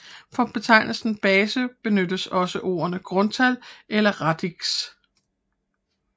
For betegnelsen base benyttes også ordene grundtal eller radix